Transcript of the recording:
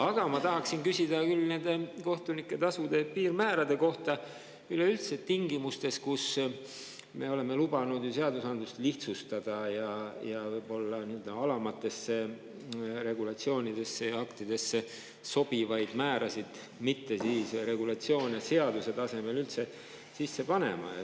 Aga ma tahan küsida nende kohtunike tasude piirmäärade kohta tingimustes, kus me oleme lubanud ju seadusandlust lihtsustada ja alamatesse aktidesse sobivaid määrasid ja muid regulatsioone mitte seadusesse sisse panna.